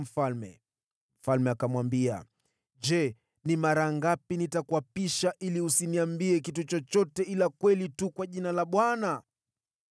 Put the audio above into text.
Mfalme akamwambia, “Je, ni mara ngapi nitakuapisha ili usiniambie kitu chochote ila kweli tu kwa jina la Bwana ?”